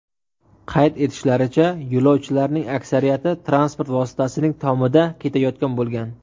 Qayd etishlaricha, yo‘lovchilarning aksariyati transport vositasining tomida ketayotgan bo‘lgan.